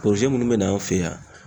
munnu be na an fe yen yan